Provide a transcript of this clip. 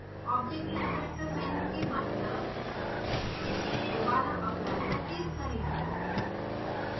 object inspector menu के बायीं तरफ दोबारा apply पर क्लिक करें